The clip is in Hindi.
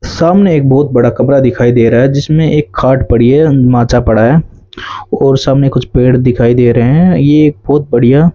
सामने एक बहुत बड़ा कमरा दिखाई दे रहा है जिसमें एक खाट पड़ी है अं माचा पड़ा है और सामने कुछ पेड़ दिखाई दे रहे हैं ये एक बहोत बढ़िया --